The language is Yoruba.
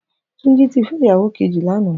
Tunji ti fè iyáwó kèji lànã